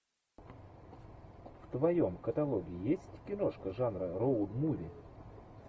в твоем каталоге есть киношка жанра роуд муви